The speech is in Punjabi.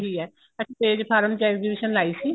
ਇਹੀ ਹੈ ਅਸੀਂ ਤੇਜ ਫਾਰਮ ਚ exhibition ਲਾਈ ਸੀ